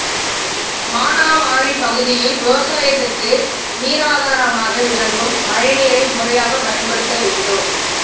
மானாவாரி பகுதியில் விவசாயத்துக்கு நீராதாரமாக விளங்கும் மழைநீரை முறையாக பயன்படுத்த வேண்டும்